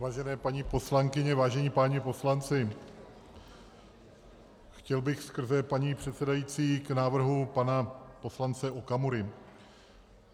Vážené paní poslankyně, vážení páni poslanci, chtěl bych skrze paní předsedající k návrhu pana poslance Okamury.